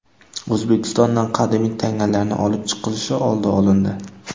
O‘zbekistondan qadimiy tangalarning olib chiqilishi oldi olindi.